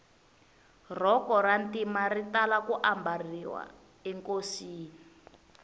rhoko ra ntima ri tala ku mbariwa enkosini